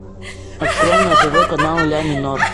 открой на тв канал ля минор